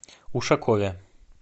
ушакове